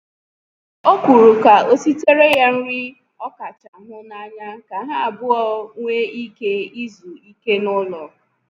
O kwuru ka o sitere ya nri ọkacha hụ n'anya ka ha abụọ nwee ike izu ike n'ụlọ